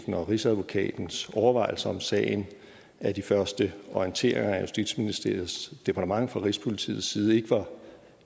rigsadvokatens overvejelser om sagen at de første orienteringer af justitsministeriets departement fra rigspolitiets side ikke var